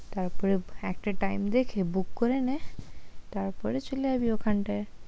তারপরে একটা টাইম দেখে বুক করে নে তারপরে চলে যাবি ওখানটায়।